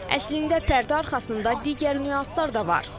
Əslində pərdə arxasında digər nüanslar da var.